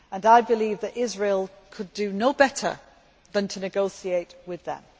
I believe that Israel could do no better than to negotiate with them.